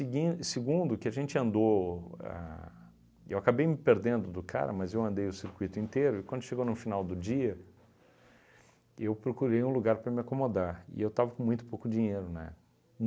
Eguin e segundo, que a gente andou a, eu acabei me perdendo do cara, mas eu andei o circuito inteiro, e quando chegou no final do dia, eu procurei um lugar para me acomodar, e eu estava com muito pouco dinheiro, né?